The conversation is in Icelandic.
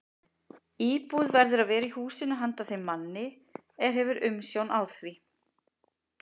Íbúð verður að vera í húsinu handa þeim manni, er hefur umsjón á því.